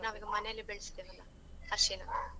ನಾವ್ ಈಗ ಮನೆಲ್ಲಿ ಬೆಳ್ಸಿದ್ದೆವಲ್ಲಾ, ಅರ್ಶಿಣ.